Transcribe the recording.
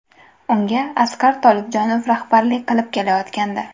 Unga Asqar Tolibjonov rahbarlik qilib kelayotgandi.